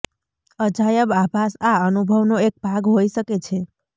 અજાયબ આભાસ આ અનુભવનો એક ભાગ હોઇ શકે છે